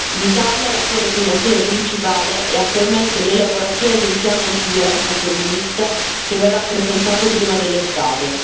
In Italia la sua declinazione principale è attualmente l'elaborazione di un piano antiviolenza femminista che verrà presentato prima dell'estate.